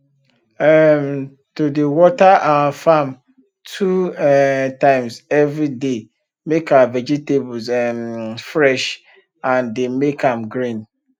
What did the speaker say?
um to dey water our farm two um times everyday dey make our vegetables um fresh and dey make am green